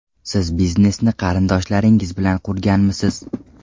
Siz biznesni qarindoshlaringiz bilan qurganmisiz?